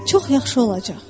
çox yaxşı olacaq.